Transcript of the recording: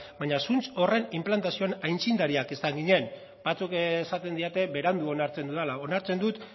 baino zuntz horren inplantazioan aitzindariak izan ginen batzuk esaten didate berandu onartzen dudala onartzen dut